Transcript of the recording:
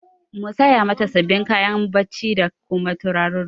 Mu saya mata sabin kayan bacci da kuma turarurruka